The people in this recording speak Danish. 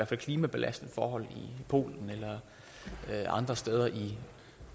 fald klimabelastende forhold i polen eller andre steder i